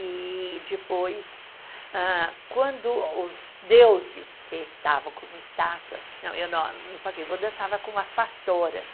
E depois, ah quando os deuses, que estavam como estátuas, não, eu não, no Pacaembu eu dançava com as pastoras.